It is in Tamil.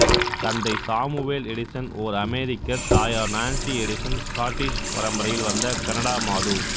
தந்தை சாமுவெல் எடிசன் ஓர் அமெரிக்கர் தாயார் நான்சி எடிசன் ஸ்காட்டிஷ் பரம்பரையில் வந்த கனடா மாது